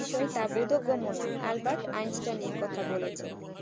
বোধক গমন নয় Albert Einstein এ কথা বলেছেন